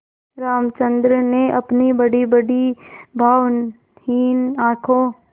रामचंद्र ने अपनी बड़ीबड़ी भावहीन आँखों